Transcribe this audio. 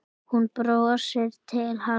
Hún brosir til hans.